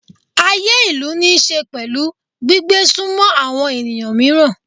Ayé ìlú níí ṣe pẹ̀lú gbígbé sunmọ́ àwọn ènìyàn mìíràn.